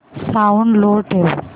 sound लो ठेव